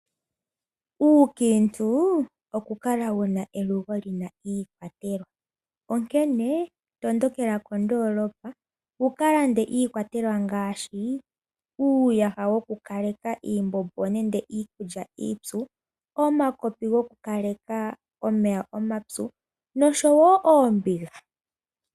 Uukiintu oku kala wuna elugo lyina iikwatelwa onkene tondokela kondoolopa wuka lande iikwatelwa ngaashi uuyaha wokukaleka iimbombo nenge iikulya iipyu, omakopi goku kaleka omeya omapyu nosho woo oombiga.